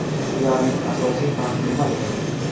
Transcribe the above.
Ularning asosiy farqi nimada?